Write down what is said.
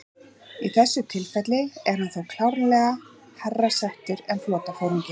Í því tilfelli er hann þá klárlega hærra settur en flotaforingi.